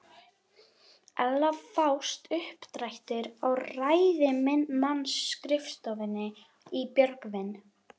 Ella fást uppdrættir á ræðismannsskrifstofunni í Björgvin.